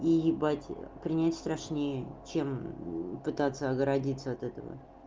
и ебать принять страшнее чем пытаться оградиться от этого